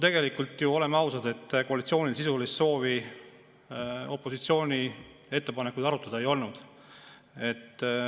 Tegelikult ju, oleme ausad, koalitsioonil sisulist soovi opositsiooni ettepanekuid arutada ei olnud.